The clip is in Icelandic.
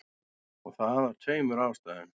Og það af tveimur ástæðum.